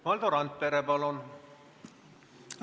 Valdo Randpere, palun!